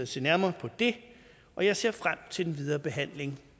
se nærmere på det og jeg ser frem til den videre behandling